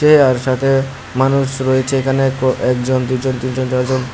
এ আর সাথে মানুষ রয়েছে এখানে ক একজন দুজন তিনজন চারজন।